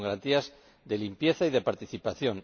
Con garantías de limpieza y de participación.